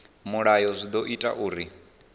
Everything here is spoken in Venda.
mulayo zwi ḓo ita uri